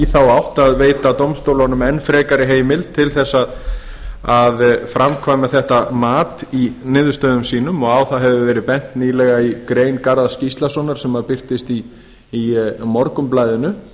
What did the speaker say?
þá átt að veita dómstólunum enn frekari heimild til að framkvæma slíkt mat í niðurstöðum sínum á það hefur verið bent nýlega í grein garðars gíslasonar héraðsdómslögmanns sem birtist í morgunblaðinu